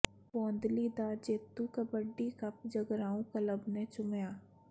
ਬੋਂਦਲੀ ਦਾ ਜੇਤੂ kabaddi cup Jagraon club ਨੇ ਚੁੰਮਿਆ